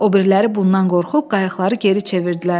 Obiriləri bundan qorxub qayıqları geri çevirdilər.